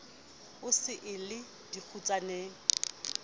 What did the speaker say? e se e le dikgutsaneng